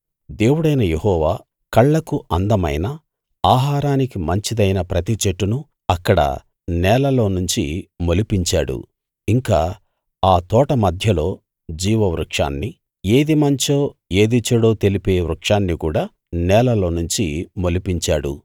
దేవుడైన యెహోవా కళ్ళకు అందమైన ఆహారానికి మంచిదైన ప్రతి చెట్టునూ అక్కడ నేలలోనుంచి మొలిపించాడు ఇంకా ఆ తోట మధ్యలో జీవవృక్షాన్నీ ఏది మంచో ఏది చెడో తెలిపే వృక్షాన్నీ కూడా నేలలోనుంచి మొలిపించాడు